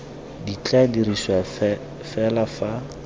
di tla dirisiwa fela fa